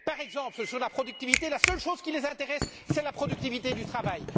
Par exemple, sur la productivité, la seule chose qui les intéresse, c'est la productivité du travail.